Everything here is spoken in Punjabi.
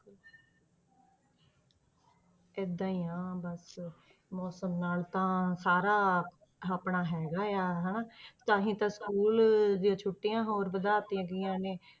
ਏਦਾਂ ਹੀ ਆ ਬਸ ਮੌਸਮ ਨਾਲ ਤਾਂ ਸਾਰਾ ਆਪਣਾ ਹੈਗਾ ਆ ਹਨਾ ਤਾਂ ਹੀ ਤਾਂ school ਦੀਆਂ ਛੁੱਟੀਆਂ ਹੋਰ ਵਧਾ ਦਿੱਤੀਆਂ ਗਈਆਂ ਨੇ,